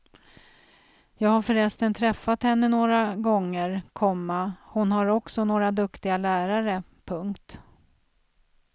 Jag har förresten träffat henne några gånger, komma hon har också några duktiga lärare. punkt